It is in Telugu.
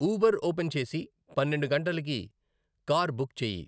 ఊబర్ ఓపెన్ చేసి పన్నెండు గంటలకి కార్ బుక్ చేయి